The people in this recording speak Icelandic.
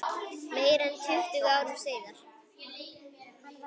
Meira en tuttugu árum síðar.